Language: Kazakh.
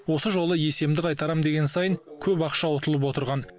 осы жолы есемді қайтарамын деген сайын көп ақша ұтылып отырған